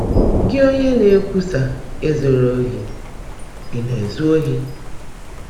“Gị́, ónyé ná-èkwúsá ‘Èzùla óhì,’ ị̀ ná-èzú óhì?